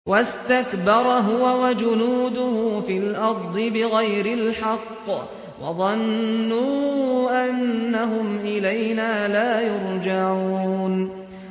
وَاسْتَكْبَرَ هُوَ وَجُنُودُهُ فِي الْأَرْضِ بِغَيْرِ الْحَقِّ وَظَنُّوا أَنَّهُمْ إِلَيْنَا لَا يُرْجَعُونَ